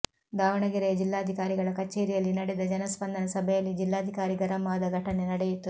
ದಾವಣಗೆರೆಯ ಜಿಲ್ಲಾಧಿಕಾರಿಗಳ ಕಚೇರಿಯಲ್ಲಿ ನಡೆದ ಜನಸ್ಪಂದನ ಸಭೆಯಲ್ಲಿ ಜಿಲ್ಲಾಧಿಕಾರಿ ಗರಂ ಆದ ಘಟನೆ ನಡೆಯಿತು